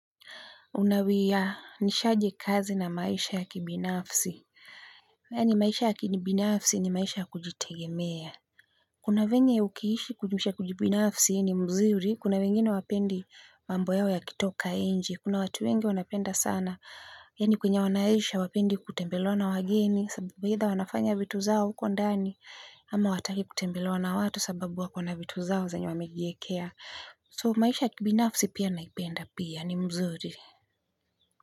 Unawianishaje kazi na maisha ya kibinafsi? Yaani maisha ya kibinafsi ni maisha kujitegemea. Kuna venye ukiishi kujumisha kujibinafsi ni mzuri. Kuna wengine hawapendi mambo yao yakitoka nje. Kuna watu wengi wanapenda sana yaani kwenye wanaisha hawapendi kutembelewa na wageni. Sababu either wanafanya vitu zao huko ndani. Ama hawataki kutembelewa na watu sababu wakona vitu zao zenye wamejiekea. So maisha ya kibinafsi pia naipenda pia ni mzuri.